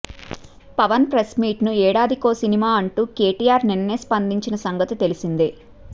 Pawan press మీట్ను ఏడాదికో సినిమా అంటూ కేటీఆర్ నిన్నే స్పందించిన సంగతి తెలిసిందే